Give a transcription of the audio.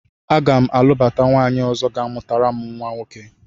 Aga m alụbata nwaanyị ọzọ ga-amụtara m nwoke